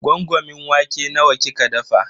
Gwangwamin wake nawa kika dafa?